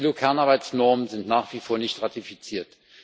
Die ILO-Kernarbeitsnormen sind nach wie vor nicht ratifiziert.